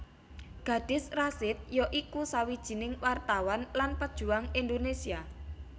Gadis Rasid ya iku sawijining wartawan lan pejuang Indonesia